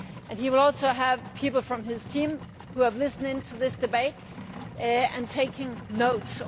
He will also have people from his team who are listening to this debate and taking notes.